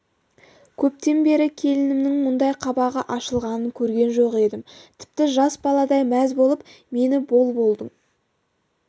көптен бері келінімнің мұндай қабағы ашылғанын көрген жоқ едім тіпті жас баладай мәз болып мені бол-болдың